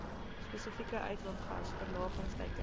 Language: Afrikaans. spesifieke uitlaatgas verlagingsteikens